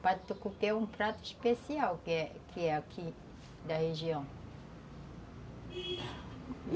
O pato no tucupi é um prato especial que é que é aqui da região.